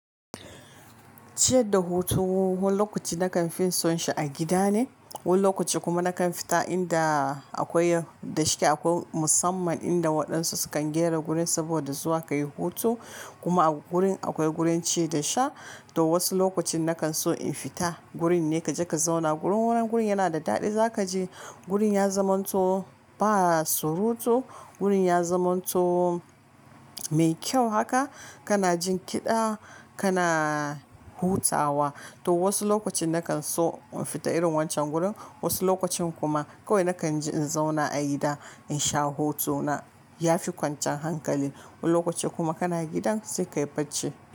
Ciyar da hutu wani lokaci nakan fiya son shi a gida ne, wani lokaci kuma nakan fita inda akwai da shike akwai musamman inda waɗansu sukan gyara gurin su saboda zuwa kayi hutu kuma a gurin akwai gurin ci da sha. To wasu lokacin nakan so in fita gurin ne kaje ka zauna gurin wani gurin yana da daɗi zakaji gurin ya zamanto ba surutu, gurin ya zamanto mai kyau haka kana jin kiɗa kana hutawa. To wasu lokacin nakan so in fita irin wancan gurin wasu lokacin kuma kawai nakan ji in zauna a gida in sha hutu na yafi kwanciyan hankali. Wani lokaci kuma kana gidan sai ka yi barci.